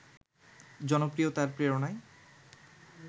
জনপ্রিয়তার প্রেরণায়